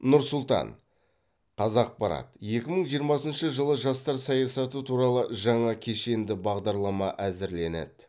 нұр сұлтан қазақпарат екі мың жиырмасыншы жылы жастар саясаты туралы жаңа кешенді бағдарлама әзірленеді